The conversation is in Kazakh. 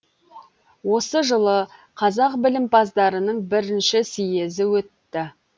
осы жылы қазақ білімпаздарының бірінші съезі өтті